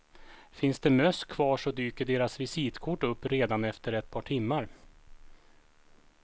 Finns det möss kvar så dyker deras visitkort upp redan efter ett par timmar.